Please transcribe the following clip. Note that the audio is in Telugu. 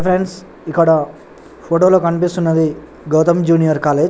ఫ్రెండ్స్ ఇక్కడ ఫోటో లో కనిపిస్తునది గౌతం జూనియర్ కాలేజీ .